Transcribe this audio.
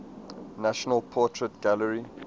national portrait gallery